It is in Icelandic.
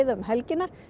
um helgina